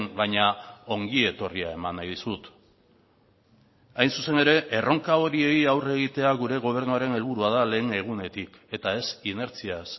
baina ongietorria eman nahi dizut hain zuzen ere erronka horiei aurre egitea gure gobernuaren helburua da lehen egunetik eta ez inertziaz